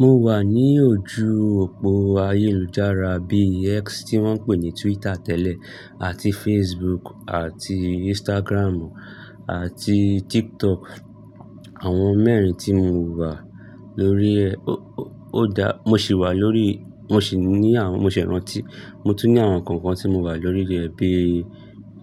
Mo wà ní ojú òpó ayélujára bí i X tí wọ́n ń pè ní Twitter tẹ́lẹ̀ àti Facebook àti Instagram àti TikTok. Àwọn mẹ́rin tí mo wà lórí ẹ. Ó dá, mo sì wà lórí, mo sì ní àwọn, mo se rántí, mo tún ní àwọn kọ̀ọ̀kan tí mo wà lórí rẹ̀ bí i,